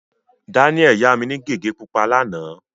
Daniel yá mi ní gègé pupa lánàá.